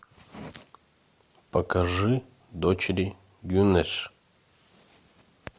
покажи дочери гюнеш